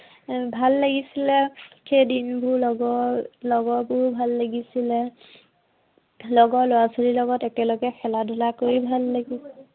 এৰ ভাল লাগিছিলে, সেইদিনবোৰ লগৰ, লগৰবোৰ ভাল লাগিছিলে। লগৰ লৰা-ছোৱালীৰ লগত একেলগে খেলা-ধূলা কৰি ভাল লাগি